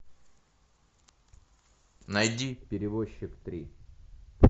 найди перевозчик три